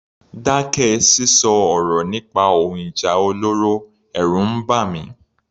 Dákẹ́ sísọ ọ̀rọ̀ nípa ohun ìjà olóró, ẹ̀rù ń bà mí.